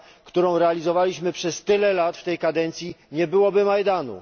którą realizowaliśmy przez tyle lat w tej kadencji, nie byłoby Majdanu.